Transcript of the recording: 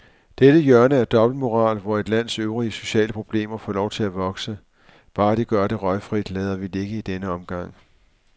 Dette hjørne af dobbeltmoral, hvor et lands øvrige sociale problemer får lov at vokse, bare de gør det røgfrit, lader vi ligge i denne omgang.